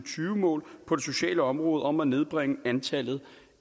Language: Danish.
mål på det sociale område om at nedbringe antallet